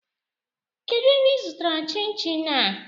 Kedụ ebe ị zụtara chin chin a?